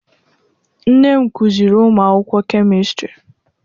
Nne m kụziiri ụmụ akwụkwọ kemistri